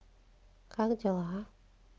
как дела